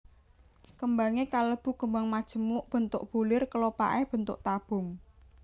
Kembangé kalebu kembang majemuk bentuk bulir kelopaké bentuk tabung